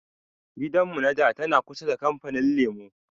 Gidan mu na da tana kusa da kamfanin lemu